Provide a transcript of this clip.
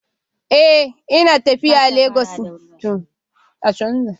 Eh, ina tafiya Legas yanzu